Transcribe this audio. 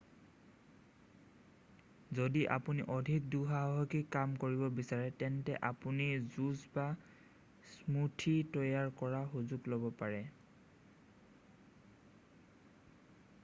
যদি আপুনি অধিক দুঃসাহসিক কাম কৰিব বিচাৰে তেন্তে আপুনি জুচ বা স্মুথি তৈয়াৰ কৰাৰ সুযোগ ল'ব পাৰে